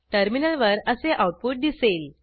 टर्मिनलवर असे आऊटपुट दिसेल